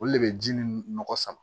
Olu le bɛ ji ni nɔgɔ sama